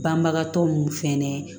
Banbagatɔ ninnu fɛnɛ